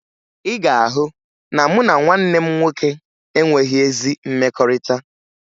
Ị ga-ahụ na mụ na nwanne m nwoke enweghi ezi mmekọrịta